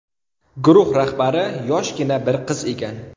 Guruh rahbari yoshgina bir qiz ekan.